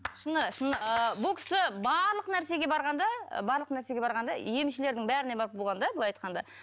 шыны шыны ы бұл кісі барлық нәрсеге барған да барлық нәрсеге барған да емшілердің бәріне барып болған да былай айтқанда